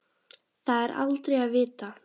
Það er aldrei að vita?